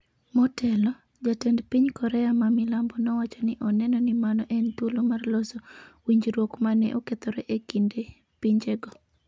Motelo, jatend piny Korea ma milambo nowacho ni oneno ni mano en thuolo mar loso winjruok ma ne okethore e kind pinjego.